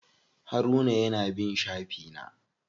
Haruna ya na bin shafi na.